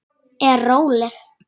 Er róleg.